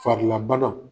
Farilabana